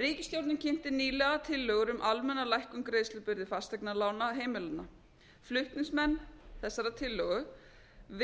ríkisstjórnin kynnti nýlega tillögur um almenna lækkun greiðslubyrði fasteignalána heimilanna flutningsmenn þessarar tillögu